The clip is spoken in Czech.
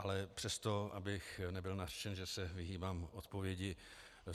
Ale přesto, abych nebyl nařčen, že se vyhýbám odpovědi.